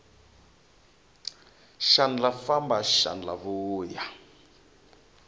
xandla famba xandla vuya